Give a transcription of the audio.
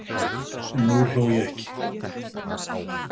En nú hló ég ekki.